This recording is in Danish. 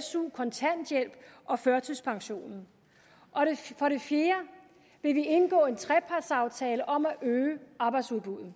su kontanthjælp og førtidspension for det fjerde vil vi indgå en trepartsaftale om at øge arbejdsudbuddet